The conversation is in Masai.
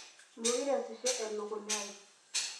meekure eesisho ekukunya ai